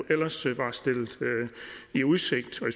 ellers var stillet i udsigt og